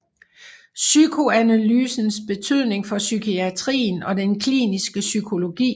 PSYKOANALYSENS BETYDNING FOR PSYKIATRIEN OG DEN KLINISKE PSYKOLOGI